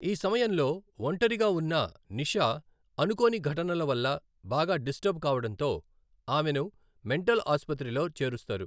ఈ సమయంలో ఒంటరిగా ఉన్న నిషా అనుకోని ఘటనల వల్ల బాగా డిస్టర్బ్ కావడంతో ఆమెను మెంటల్ ఆసుపత్రిలో చేరుస్తారు.